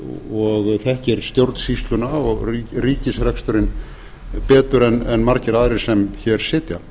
og þekkir stjórnsýsluna og ríkisreksturinn betur en margir aðrir sem hér sitja